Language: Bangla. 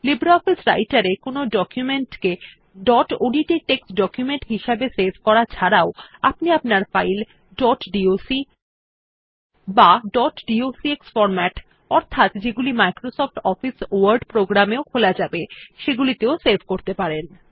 লিব্রিঅফিস রাইটের এ ডকুমেন্ট কে ডট ওডিটি টেক্সট ডকুমেন্ট হিসাবে সেভ করা ছাড়াও আপনি আপনার ফাইল ডট ডক বা ডট ডক্স ফরম্যাট অর্থাৎ যেগুলি মাইক্রোসফট অফিস ওয়ার্ড প্রোগ্রাম এও খোলা যাবে সেগুলিতেও সেভ করতে পারেন